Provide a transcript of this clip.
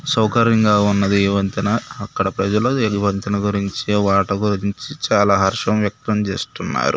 సౌకర్యంగా ఉన్నది ఈ వంతెన అక్కడ ప్రజలు ఈ వంతెన గురించి వాటి గురించి చాలా హర్షం వ్యక్తం చేస్తున్నారు.